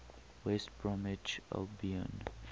west bromwich albion